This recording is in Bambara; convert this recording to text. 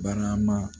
Barama